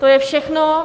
To je všechno.